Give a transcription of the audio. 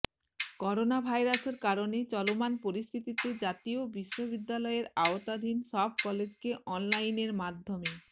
করোনাভাইরাসের কারণে চলমান পরিস্থিতিতে জাতীয় বিশ্ববিদ্যালয়ের আওতাধীন সব কলেজকে অনলাইনের মাধ্যমে